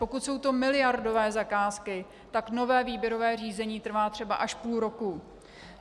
Pokud jsou to miliardové zakázky, tak nové výběrové řízení trvá třeba až půl roku.